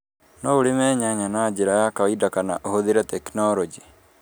No urĩme nyanya na njĩra ya kawaida kana ũhũthĩre tekinorojĩ